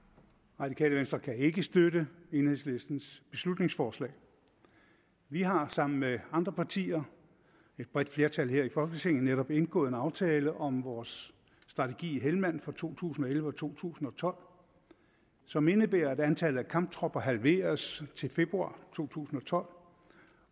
radikale venstre kan ikke støtte enhedslistens beslutningsforslag vi har sammen med andre partier et bredt flertal her i folketinget netop indgået en aftale om vores strategi i helmand for to tusind og elleve og to tusind og tolv som indebærer at antallet af kamptropper halveres til februar to tusind og tolv